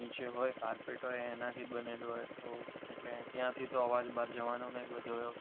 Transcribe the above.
નીચે હોય કારપેટ હોય એનાથી જ બનેલું હોય એટલે ત્યાંથી તો અવાજ બહાર જવાનો નથી બધો.